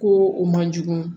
Ko o man jugu